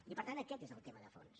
i per tant aquest és el tema de fons